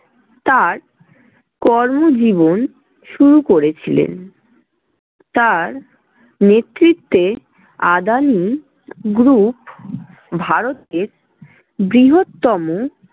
তার কর্মজীবন শুরু করেছিলেন, তার নেতৃত্বে আদানি group ভারতের বৃহত্তম